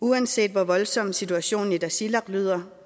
uanset hvor voldsom situationen i tasiilaq lyder